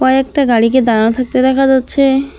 কয়েকটা গাড়িকে দাঁড়ানো থাকতে দেখা যাচ্ছে।